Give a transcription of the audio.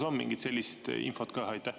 Kas on mingit sellist infot ka?